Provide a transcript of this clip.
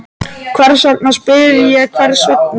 Hvers vegna, spyr ég, hvers vegna?